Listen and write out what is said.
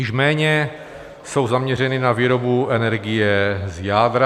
Již méně jsou zaměřeny na výrobu energie z jádra.